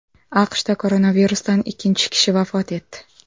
AQShda koronavirusdan ikkinchi kishi vafot etdi.